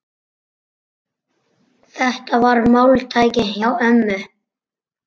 Þetta var máltæki hjá ömmu.